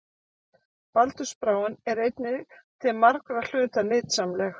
Baldursbráin er einnig til margra hluta nytsamleg.